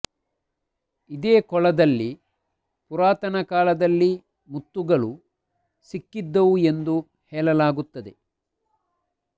ಇದೇ ಕೊಳದಲ್ಲಿ ಪುರಾತನ ಕಾಲದಲ್ಲಿ ಮುತ್ತುಗಳು ಸಿಕ್ಕಿದ್ದವು ಎಂದು ಹೇಳಲಾಗುತ್ತದೆ